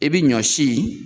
I bɛ ɲɔ si